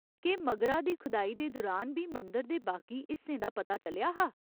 केह् मगरा दी खदाई दे दुरान बी मंदर दे बाकी हिस्सें दा पता चलेआ हा ?